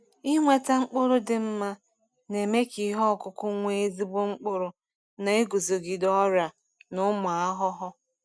Ịnweta mkpụrụ dị mma na-eme ka ihe ọkụkụ nwee ezigbo mkpụrụ na iguzogide ọrịa na ụmụ ahụhụ.